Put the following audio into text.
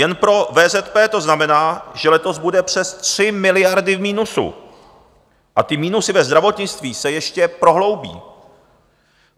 Jen pro VZP to znamená, že letos bude přes 3 miliardy v minusu a ty minusy ve zdravotnictví se ještě prohloubí.